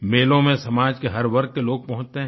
मेलों में समाज के हर वर्ग के लोग पहुँचते हैं